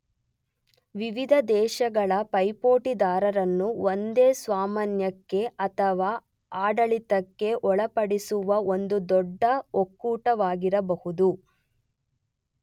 ವಿವಿಧ ದೇಶಗಳ ಪೈಪೋಟಿದಾರರನ್ನು ಒಂದೇ ಸ್ವಾಮ್ಯಕ್ಕೆ ಅಥವಾ ಆಡಳಿತಕ್ಕೆ ಒಳಪಡಿಸುವ ಒಂದು ದೊಡ್ಡ ಒಕ್ಕೂಟವಾಗಿರಬಹುದು.